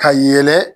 Ka yɛlɛ